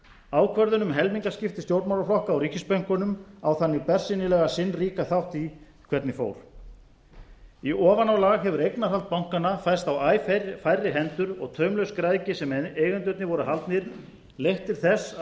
ákvörðun um helmingaskipti stjórnmálaflokka á ríkisbönkunum á þannig bersýnilega sinn ríka þátt í hvernig fór í ofanálag hefur eignarhald bankanna færst á æ færri hendur og taumlaus græðgi sem eigendurnir voru haldnir leitt til þess að